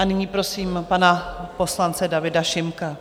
A nyní prosím pana poslance Davida Šimka.